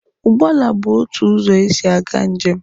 Ụgbọala bụ otu ụzọ esi aga njem.